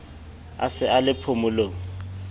a se a le phomolong